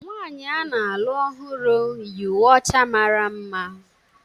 Nwaanyị a na-alụ ọhụrụ yi uwe ọcha mara mma.